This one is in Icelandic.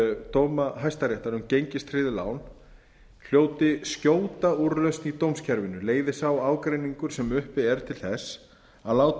dóma hæstaréttar um gengistryggð lán hljóti skjóta úrlausn í dómskerfinu leiði sá ágreiningur sem uppi er til þess að látið